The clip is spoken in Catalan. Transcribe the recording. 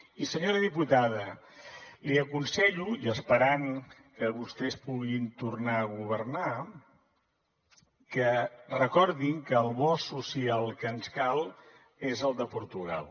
i senyora diputada li aconsello i esperant que vostès puguin tornar a governar que recordi que el bo social que ens cal és el de portugal